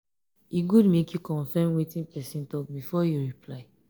e good make you confirm wetin person talk before you reply.